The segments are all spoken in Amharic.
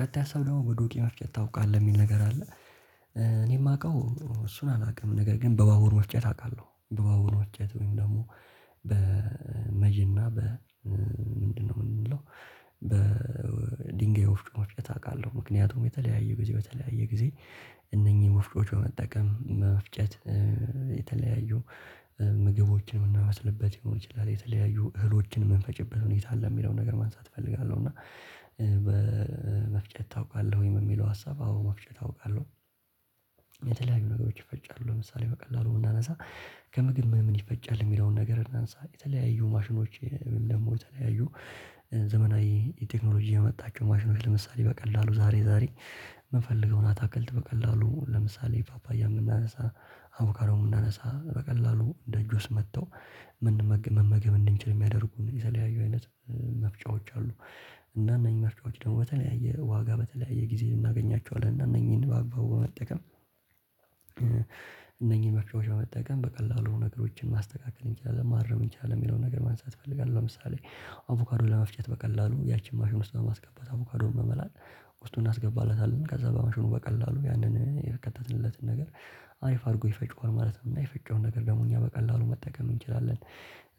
ቀጣይ ሃሰብ ደግሞ በዱቄ መፍጨት ታውቃለህ የሚል ነገር አለ። እኔ የማውቀው እሱን አላውቅም ነገር ግን በባቡር መፍጨት አውቃለሁ። በባቡር መፍጨት ወይም ደግሞ በመጅና በ ምንድነው የምንለው በ ድንጋይ ወፍጮ መፍጨት አውቃለሁ። ምክንያቱም የተለያየ ጊዜ በተለያየ ጊዜ እነኚህ ወፍጮዎች በመጠቀም መጠቀም መፍጨት የተለያዩ ምግቦችን የምናበስልበት ሊሆን ይችላል የተለያዩ እህሎችን የምንፈጭበት ሁኔታ አለ የሚለውን ነገር ማንሳት እፈልጋለሁ። እና በመፍጨት ታውቃለህ ወይም የሚለው ሀሳብ አዎ መፍጨት አውቃለሁ። የተለያዩ ነገሮች ይፈጫሉ ለምሳሌ በቀላሉ ብናነሳ ከምግብ ምን ምን ይፈጫል የሚለውን ነገር እናንሳ የተለያዩ ማሽኖች ደግሞ የተለያዩ ዘመናዊ የቴክኖሎጂ ያመጣችው ማሽኖች ለምሳሌ በቀላሉ ዛሬ ዛሬ የምፈልገውን አታክልት በቀላሉ ለምሳሌ ፓፓያ ብምናነሳ አቩካዶን ብናነሳ በቀላሉ እንደ ጁስ መጥተው መመገብ እንድንችል የሚያደርጉን የተለያዩ አይነት መፍጫዎች አሉ። እና እነዚህ መፍጫዎች ደግሞ በተለያየ ዋጋ በተለያየ ጊዜ እናገኛቸዋለን እና እነኚህን በአግባው በመጠቀም። እነኚህን መፍቻጫዎች በመጠቀም በቀላሉ ነገሮችን ማስተካከል እንችላለን ማረም እንችላለን የሚለውን ነገር ማንሳት እፈልጋለሁ። ለምሳሌ አቮካዶ ለመፍጨት በቀላሉ ያቺን ማሽን ውስጥ በማስገባት አቮካዶውን በመላጥ ውስጡ እናስገባለታለን ከዛ በማሽኑ በቀላሉ ያንን የከተትልነትን ነገር አሪፍ አድርጎ ይፈጭዋል ማለት ነው የፈጨውን ነገር ደግሞ እኛ በቀላሉ መጠቀም እንችላለን።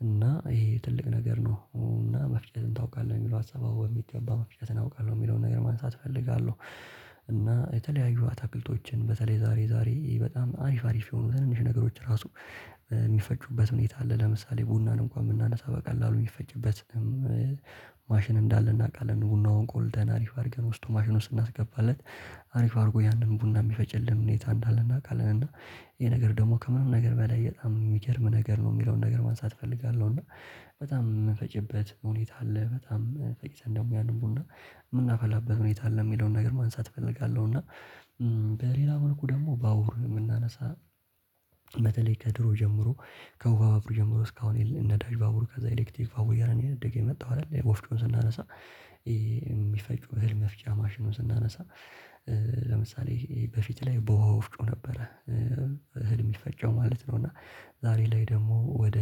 እና ይሄ ትልቅ ነገር ነው እና መፍጨትን ታውቃለህ የሚለው ሀሳብ አዎ በሚገባ መፍጨትን አውቃለሁ የሚለውን ነገር ማንሳት እፈልጋለሁ። የተለያዩ አታክልቶችን በተለይ ዛሬ ዛሬ በጣም አሪፍ አሪፍ የሆኑ ትንንሽ ነገሮች ራሱ የሚፈጩበት ሁኔታ አለ ለምሳሌ ቡናን እንኳን ብናነሳ በቀላሉ የሚፈጭበት ማሽን እንዳለ እናውቃለን ቡናውን ቆልተን አሪፍ አድርገን ውስጡ ማሽን ውስጥ ብናስገባለት አሪፍ አድርጎ ያንን ቡና የሚፈጭልኝ ሁኔታ እንዳለ እናውቃለን። እና ይሄ ነገር ደግሞ ከምንም ነገር በላይ በጣም የሚገርም ነገር ነው የሚለውን ነገር ማንሳት እፈልጋለሁ። እና በጣም የምንፈጭበት ሁኔታ አለ በጣም ፈጭተን ደግሞ ያንን ቡና የምናፈላበት ሁኔታ አለ የሚለውን ነገር ማንሳት እፈልጋለሁ። እና በሌላ መልኩ ደግሞ ባቡር ብናነሳ በተለይ ከድሮ ጀምሮ ከውሃ ባብሩ ጀምሮ እስካሁን ነዳጅ ባቡር ከዛ ኤሌክትሪክ ባቡር እያለ ነው እያደገ የመጣው አይደል? ወፍጮን ስናነሳ የሚፈጩ እህል መፍጫ ማሽኑን ስናነሳ ለምሳሌ በፊት ላይ በውሃ ወፍጮ ነበረ እህል የሚፈጨው ማለት ነው። እና ዛሬ ላይ ደግሞ ወደ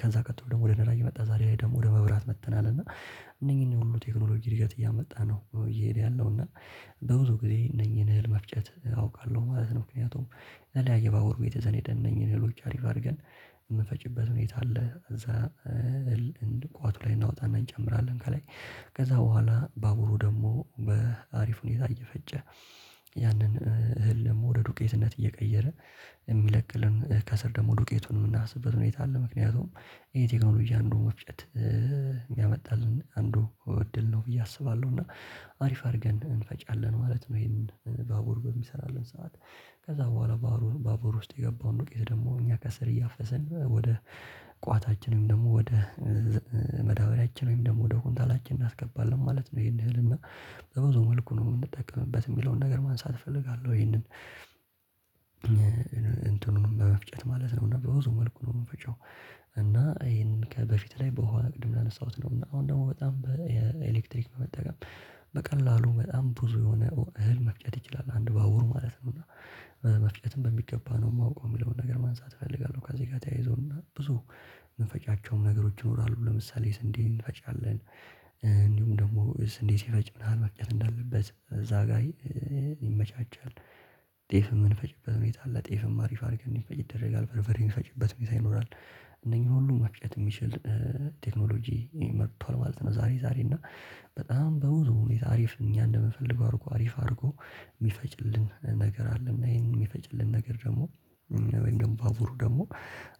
ከዛ ቀጥሎ ደግሞ ወደ ነዳጅ መጣ ዛሬ ላይ ደግሞ ወደ መብራት መጥተናል። እና እነኚህን ሁሉ ቴክኖሎጂ እድገት እያመጣ ነው እየሄደ ያለው እና በብዙ ጊዜ እነኚህን እህል መፍጨት አውቃለሁ ማለት ነው። ምክንያቱም የተለያየ ባቡር ወርቤት ዘነደነኝን እህሎች አሪፍ አድርገን የምፈጭበት ሁኔታ አለ። እዛ እህል ቋቱ ላይ እናወጣና እንጨምራለን ከላይ ከዛ በኋላ ባቡሩ ደግሞ በአሪፍ ሁኔታ እየፈጨ ያንን እህል ደግሞ ወደ ዱቄትነት እየቀየረ የሚለቅልን ከስር ደግሞ ዱቄቱን የምናፍስበት ሁኔታ አለ። ምክንያቱም የቴክኖሎጂ አንዱን ወፍጨት ያመጣልን አንዱ እድል ነው ብዬ አስባለሁ እና አሪፍ አድርገን እንፈጫለን ማለት ነው። ይሄንን ባቡር በሚሰራልን ሰዓት ከዛ በኋላ ባቡር ውስጥ የገባውን ዱቄት ደግሞ እኛ ከስር እያፈሰን ወደ ቋታችን ወይም ደግሞ ወደ ማዳበሪያችን ወይም ደግሞ ወደ ኩንታላችን እናስገባለን ማለት ነው። ይሄን እህል እና በብዙ መልኩ ነው የምንጠቀምበት የሚለውን ነገር ማንሳት እፈልጋለሁ። ይሄንን እንትኑንም በመፍጨት ማለት ነው በብዙ መልኩ ነው የምንፈጨው። እና ይሄን ከበፊት ላይ በውሃ ቅድም እንዳነሳሁትነው እና አሁን ደግሞ በጣም የኤሌክትሪክ መጠቀም በቀላሉ በጣም ብዙ የሆነ እህል መፍጨት ይችላል አንድ ባውር ማለት ነው። እና መፍጨትን በሚገባ ነው የማውቀው የሚለውን ነገር ማንሳት እፈልጋለሁ። ከዚህ ጋር ተያይዞና ብዙ የምንፈጫቸውም ነገሮች ይኖራሉ ለምሳሌ ስንዴ እንፈጫለን እንዲሁም ደግሞ ስንዴ ሲፈጭ ምን ያህል መፍጨት እንዳለበት እዛ ጋር ይመቻቻል። ጤፍ የምንፈጭበት ሁኔታ አለ ጤፍም አሪፍ አድርገን እንዲፈጭ ይደረጋል በርበሬ የሚፈጭበት ሁኔታ ይኖራል። እነኚህን ሁሉ መፍጨት የሚችል ቴክኖሎጂ መጥቷል ማለት ነው። ዛሬ ዛሬ እና በጣም በብዙ ሁኔታ አሪፍ እኛ እንደምፈልገው አድርጎ አሪፍ አድርጎ የሚፈጭልን ነገር አለና ይሄን የሚፈጭልን ነገር ደግሞ ባቡሩ ደግሞ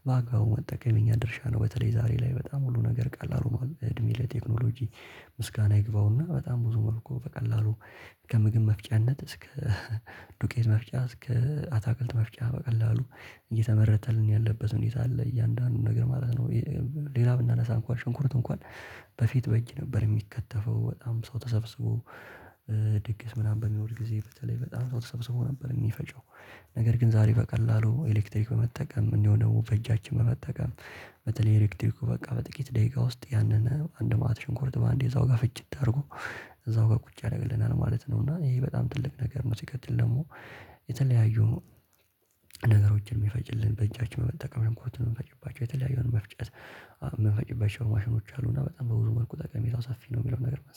በአግባቡ መጠቀም የኛ ድርሻ ነው። በተለይ ዛሬ ላይ በጣም ሁሉ ነገር ቀላል ሆኗል አድሜ ለቴክኖሎጂ ምስጋና ይግባውና በጣም ብዙ መልኩ በቀላሉ ከምግብ መፍጨነት እስከ ዱቄት መፍጫ እስከ አታክልት መፍጫ በቀላሉ እየተመረተልን ያለበት ሁኔታ አለ እያንዳንዱን ነገር ማለት ነው። ሌላ ብናነሳ እንኳን ሽንኩርት እንኳን በፊት በእጅ ነበር የሚከተፈው በጣም ሰው ተሰብስቦ ድግስ ምናምን በሚኖር ጊዜ በተለይ በጣም ሰው ተሰብስቦ ነበር የሚፈጨው ነገር ግን ዛሬ በቀላሉ ኤሌክትሪክ በመጠቀም እንዲሁም ደግሞ በእጃችን በመጠቀም በተለይ ኤሌክትሪኩ በቃ በጥቂት ደቂቃ ውስጥ ያንን አንድ መአት ሽንኩርት በአንዴ እዛው ጋር ፍጭት አድርጎ እዛው ጋር ቁጭ ያደርግልናል ማለት ነው። እና ይሄ በጣም ትልቅ ነገር ነው። ሲቀተል ደግሞ የተለያዩ ነገሮችን የሚፈጭልን በእጃችን በመጠቀም ሽንኩርት የምንፈጭባቸው የተለያየ መፍጨት የምንፈጭባቸው ማሽኖች አሉና በጣም በብዙ መልኩ ጠቃሜታው ሰፊ ነው የሚለው ነገር ማንሳት